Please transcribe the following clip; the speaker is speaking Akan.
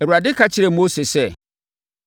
Awurade ka kyerɛɛ Mose sɛ,